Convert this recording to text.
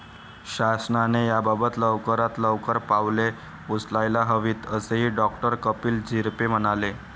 शासनाने याबाबत लवकरात लवकर पावले उचलायला हवीत, असेही डॉ. कपिल झिरपे म्हणाले.